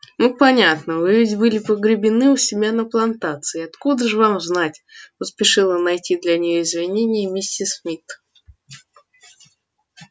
ну понятно вы ведь были погребены у себя на плантации откуда же вам знать поспешила найти для неё извинение миссис ми